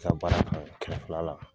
sa baara ka ɲi kɛmɛ filala.